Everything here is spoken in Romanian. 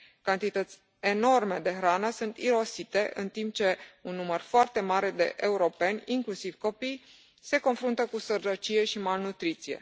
Cantități enorme de hrană sunt irosite, în timp ce un număr foarte mare de europeni, inclusiv copii se confruntă cu sărăcie și malnutriție.